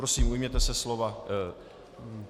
Prosím, ujměte se slova.